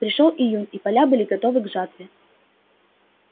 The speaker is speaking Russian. пришёл июнь и поля были готовы к жатве